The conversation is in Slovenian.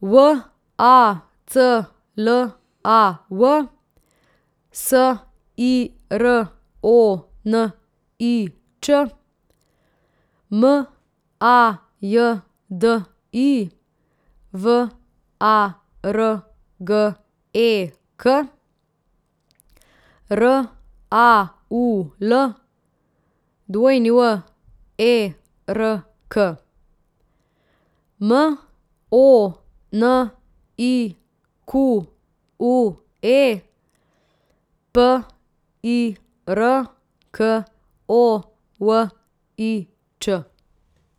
V A C L A V, S I R O N I Č; M A J D I, V A R G E K; R A U L, W E R K; M O N I Q U E, P I R K O V I Č.